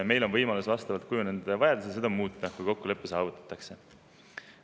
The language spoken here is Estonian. Meil on aga võimalus vastavalt vajadusele muuta, juhul kui kokkulepe saavutatakse.